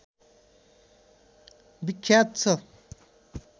विख्यात छ